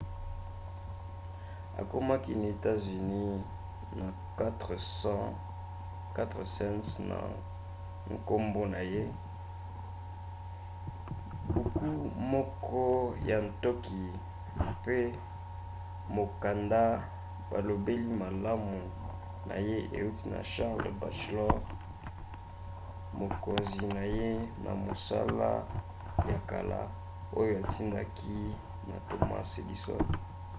akomaki na etats-unis na 4 cents na nkombo na ye buku moko ya ntoki mpe mokanda balobeli malamu na ye euti na charles batchelor mokonzi na ye na mosala ya kala oyo atindaki na thomas edison